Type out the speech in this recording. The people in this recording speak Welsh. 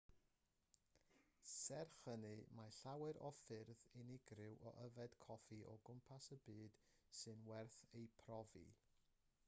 serch hynny mae llawer o ffyrdd unigryw o yfed coffi o gwmpas y byd sy'n werth eu profi